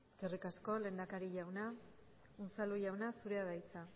eskerri asko lehendakari jauna unzalu jauna zurea da hitza